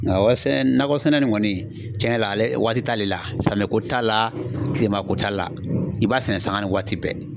Nka nakɔ sɛnɛ in kɔni cɛn yɛrɛ la ale waati t'ale la samiya ko t'a la kilema ko t'a la i b'a sɛnɛ sanga ni waati bɛɛ.